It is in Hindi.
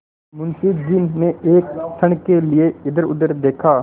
मुंशी जी ने एक क्षण के लिए इधरउधर देखा